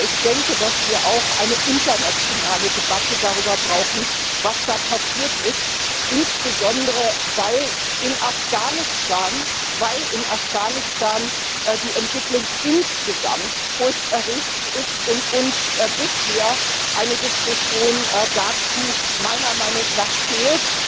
Aber ich denke, dass wir auch eine internationale Debatte darüber brauchen, was da passiert ist, insbesondere weil in Afghanistan die Entwicklung insgesamt furchterregend ist und uns bisher eine Diskussion dazu meiner Meinung nach fehlt.